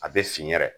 A bɛ fin yɛrɛ